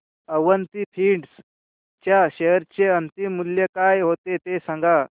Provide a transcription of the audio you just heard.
Avanti feeds च्या share चे अंतिम मूल्य काय होते ते सांगा